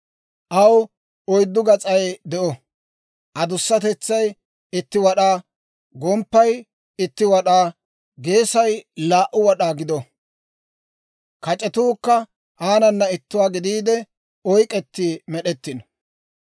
aw oyddu gas'ay de'o; adusatetsay itti wad'aa, gomppay itti wad'aa, geesay laa"u wad'aa gido; kac'etuukka aanana ittuwaa gidiide oyk'k'etti med'ettino.